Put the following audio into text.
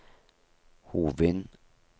Hovin